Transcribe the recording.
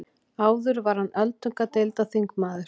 Áður var hann öldungadeildarþingmaður